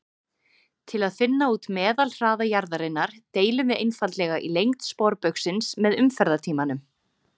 Til að finna út meðalhraða jarðarinnar deilum við einfaldlega í lengd sporbaugsins með umferðartímanum: